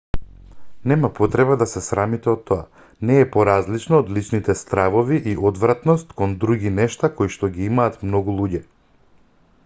нема потреба да се срамите од тоа не е поразлично од личните стравови и одвратност кон други нешта коишто ги имаат многу луѓе